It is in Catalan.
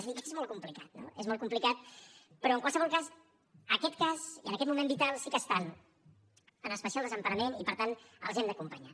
és a dir que és molt complicat no és molt complicat però en qualsevol cas en aquest cas i en aquest moment vital sí que estan en especial desemparament i per tant els hem d’acompanyar